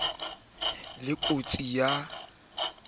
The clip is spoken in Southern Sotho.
ho na le kotsi ya